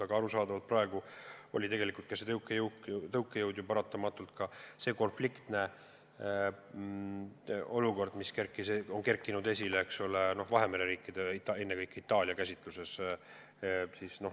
Aga arusaadavalt praegu oli see tõukejõud paratamatult konfliktne olukord, mis on tekkinud Vahemere riikide, ennekõike Itaalia käsituse tõttu.